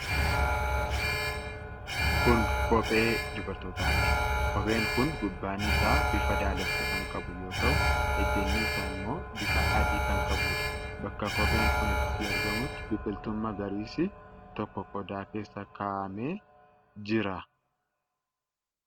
Kun kophee dubartootaati. Qopheen kun gubbaan isaa bifa daalacha kan qabu yoo ta'u ejjanni isaa ammoo bifa adii kan qabuudha. Bakka qopheen kun itti argamutti biqiltuun magariisi tokko qodaa keessa kaa'amee jira.